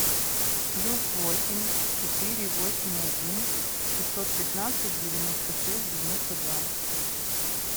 плюс восемь четыре восемь один шестьсот пятнадцать девяносто шесть девяносто два